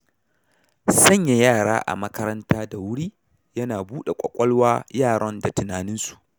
Sanya yara a makaranta da wuri, yana buɗa ƙwaƙwalwa yaran da tunaninsu.